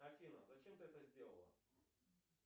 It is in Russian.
афина зачем ты это сделала